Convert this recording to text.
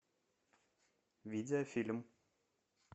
видеофильм